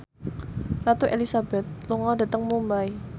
Ratu Elizabeth lunga dhateng Mumbai